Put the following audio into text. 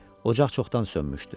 Ocaq çoxdan sönmüşdü.